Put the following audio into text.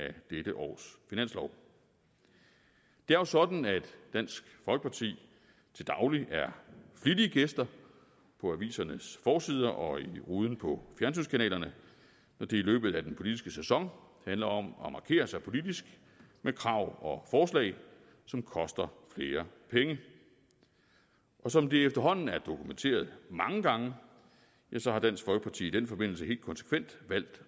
dette års finanslov det er jo sådan at dansk folkeparti til daglig er flittige gæster på avisernes forsider og i ruden på fjernsynskanalerne når det i løbet af den politiske sæson handler om at markere sig politisk med krav og forslag som koster flere penge og som det efterhånden er dokumenteret mange gange har dansk folkeparti i den forbindelse helt konsekvent valgt